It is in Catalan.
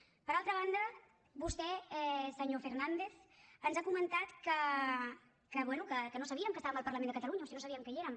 per altra banda vostè senyor fernández ens ha comentat que bé que no sabíem que estàvem al parlament de catalunya o si no sabíem que hi érem